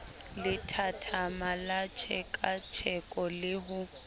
lethathama la tlhekatlheko le ho